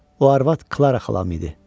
O arvad Klara xalam idi.